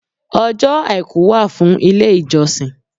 Ọjọ́ Àìkú wà fún ilé ìjọsìn.